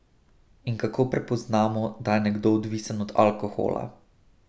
In kako prepoznamo, da je nekdo odvisen od alkohola?